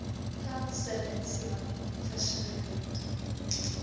plant strelitzia versinnebeeld